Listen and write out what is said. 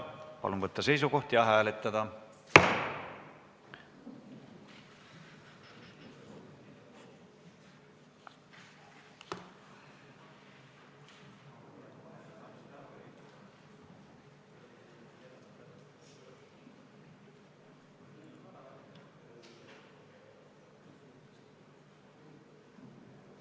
Palun võtta seisukoht ja hääletada!